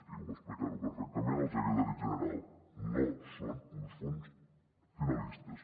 i va explicar·ho perfecta·ment el secretari general no són uns fons finalistes